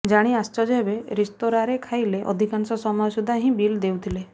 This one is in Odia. ଜାଣି ଆଶ୍ଚର୍ଯ୍ୟ ହେବେ ରେସ୍ତୋରାଁରେ ଖାଇଲେ ଅଧିକାଂଶ ସମୟ ସୁଧା ହିଁ ବିଲ୍ ଦେଉଥିଲେ